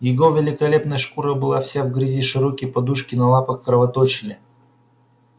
его великолепная шкура была вся в грязи широкие подушки на лапах кровоточили